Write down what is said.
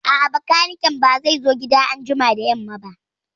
A'a, bakaniken ba zai zo gida anjima da yamma ba